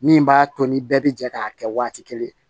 Min b'a to ni bɛɛ bɛ jɛ k'a kɛ waati kelen